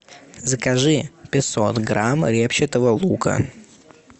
закажи пятьсот грамм репчатого лука